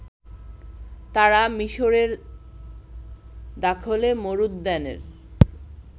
তারা মিশরের দাখলে মরুদ্যানের